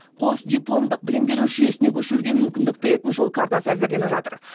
қосдипломдық білім беру жүйесіне көшуге мүмкіндік беретін жол картасы әзірленіп жатыр